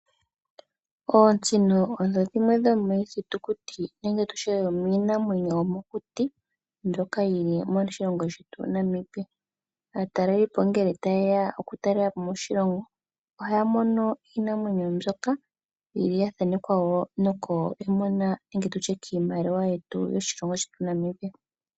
Ootsino odho dhimwe dhomiithitukuti nenge tutye dhomiinamwenyo yomokuti mbyoka yili moshilongo shetu Namibia. Aatalelipo ngele taye ya oku talelapo moshilongo ohaya mono iinamwenyo mbyoka.